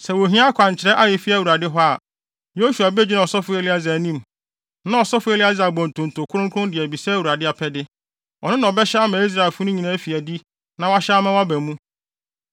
Sɛ wohia akwankyerɛ a efi Awurade hɔ a, Yosua begyina ɔsɔfo Eleasar anim, na ɔsɔfo Eleasar abɔ ntonto kronkron de abisa Awurade apɛde. Ɔno na ɔbɛhyɛ ama Israelfo no nyinaa afi adi na wahyɛ ama wɔaba mu.”